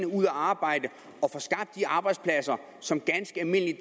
ud at arbejde og får skabt de arbejdspladser som ganske almindelige